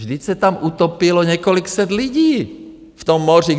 Vždyť se tam utopilo několik set lidí v tom moři!